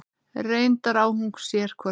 Reyndar á hún sér hvorki